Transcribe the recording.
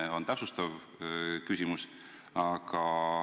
See on täpsustav küsimus.